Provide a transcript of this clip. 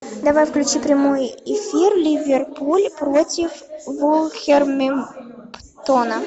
давай включи прямой эфир ливерпуль против вулверхэмптона